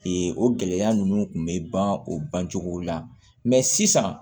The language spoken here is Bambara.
o gɛlɛya ninnu kun bɛ ban o bancogo la mɛ sisan